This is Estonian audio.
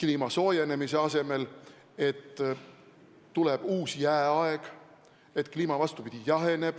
Kliima soojenemise asemel ennustati, et tuleb uus jääaeg, et kliima, vastupidi, jaheneb,